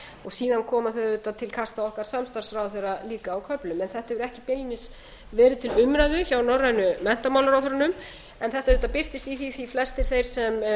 og velferðarráðherrana síðan koma þau auðvitað til kasta okkar samstarfsráðherra líka á köflum þetta hefur ekki beinlínis verið til umræðu hjá norrænu menntamálaráðherrunum en þetta auðvitað birtist í því að flestir þeir sem